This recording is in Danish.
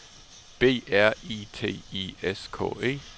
B R I T I S K E